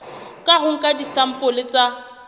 ka ho nka disampole tsa